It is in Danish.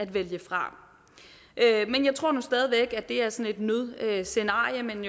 vælge fra jeg tror nu stadig væk det er sådan et nødscenarie men